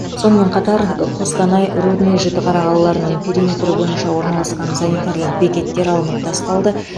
сонымен қатар қостанай рудный жітіқара қалаларының периметрі бойынша орналасқан санитарлық бекеттер алынып тасталды